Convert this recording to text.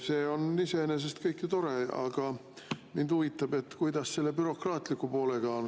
See on iseenesest kõik tore, aga mind huvitab, kuidas selle bürokraatliku poolega on.